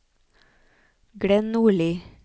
Glenn Nordli